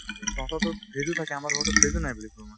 তহঁতৰতো fridge ও থাকে আমাৰ ঘৰততো fridge ও নাই বুলি কওঁ মই